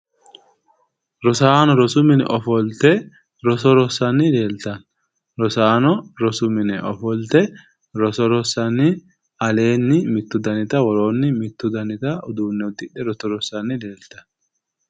Rosaano rosu mine ofolte roso rossanni leeltanno. Rosaano rosu mine ofolte roso rossanni aleenni mittu danita woroonni mittu danita uduunne uddidhe roso rossanni leeltanno.